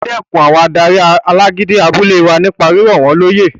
O dẹkùn àwọn adarí alágídí abúlé wa nípa rírọ̀ wọ́n lóyè